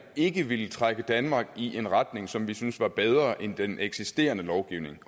ikke ville trække danmark i en retning som vi synes er bedre end den eksisterende lovgivning